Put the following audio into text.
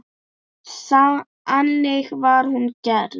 Þannig var hún gerð.